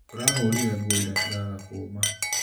Tũrahũrire nguo ira ciraga kũma.